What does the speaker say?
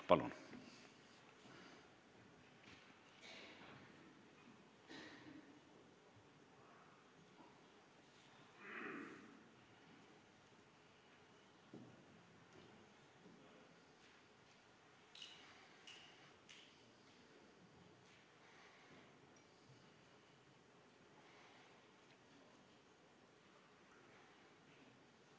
Palun!